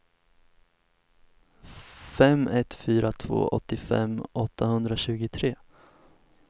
fem ett fyra två åttiofem åttahundratjugotre